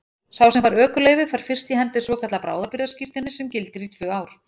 Sá sem fær ökuleyfi fær fyrst í hendur svokallað bráðabirgðaskírteini sem gildir í tvö ár.